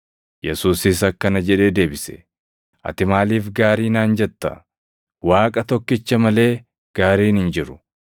Yesuusis akkana jedhee deebise; “Ati maaliif gaarii naan jetta? Waaqa tokkicha malee gaariin hin jiru.